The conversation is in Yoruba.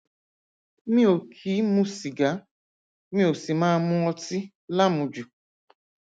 mi ò kì í mu sìgá mi ò sì máa mu ọtí lámujù